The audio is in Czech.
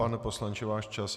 Pane poslanče, váš čas.